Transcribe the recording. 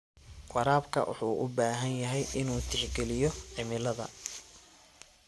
Waraabka wuxuu u baahan yahay inuu tixgeliyo cimilada.